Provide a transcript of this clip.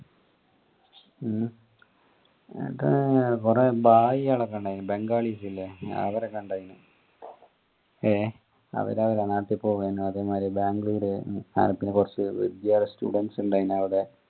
ഉം കൊറേ കളൊക്കെ ഇണ്ടായിന് ബെന്ഗാളിസ് ഇല്ലേ അവരൊക്കെ ഇണ്ടായിനു ഏഹ് അവര് അവരെ നാട്ടി പോവ്വാൻ വേണ്ടി അതെ മാതിരി ബാംഗ്ലൂർ അഹ് പിന്നെ കൊറച് students ഇണ്ടെനു